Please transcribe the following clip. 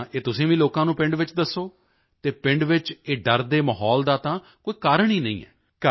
ਤਾਂ ਇਹ ਤੁਸੀਂ ਵੀ ਲੋਕਾਂ ਨੂੰ ਪਿੰਡ ਵਿੱਚ ਦੱਸੋ ਅਤੇ ਪਿੰਡ ਵਿੱਚ ਇਹ ਡਰ ਦੇ ਮਾਹੌਲ ਦਾ ਤਾਂ ਕੋਈ ਕਾਰਨ ਹੀ ਨਹੀਂ ਹੈ